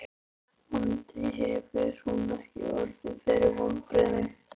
Vonandi hefur hún ekki orðið fyrir vonbrigðum.